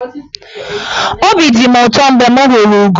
Obi dị mụ ụtọ mgbe m hụrụ ụgọ.